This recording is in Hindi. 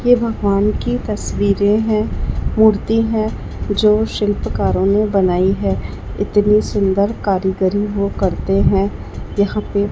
ये भगवान की तस्वीरें हैं मूर्ति हैं जो शिल्पकारों ने बनायी है इतनी सुन्दर कारीगरी वो करते हैं यहां पे--